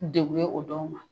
Degu ye o dɔw ma.